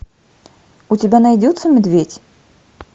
у тебя найдется медведь